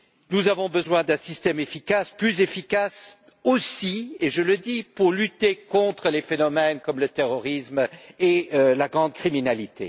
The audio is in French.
Nous avons besoin d'un système efficace, plus efficace, aussi et je le dis pour lutter contre les phénomènes comme le terrorisme et la grande criminalité.